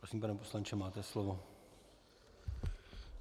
Prosím, pane poslanče, máte slovo.